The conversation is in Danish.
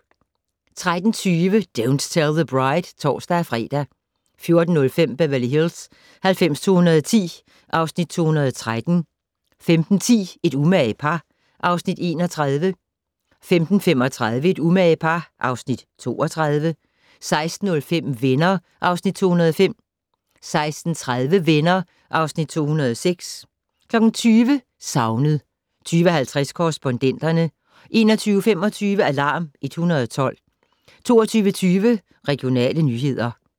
13:20: Don't Tell the Bride (tor-fre) 14:05: Beverly Hills 90210 (Afs. 213) 15:10: Et umage par (Afs. 31) 15:35: Et umage par (Afs. 32) 16:05: Venner (Afs. 205) 16:30: Venner (Afs. 206) 20:00: Savnet 20:50: Korrespondenterne 21:25: Alarm 112 22:20: Regionale nyheder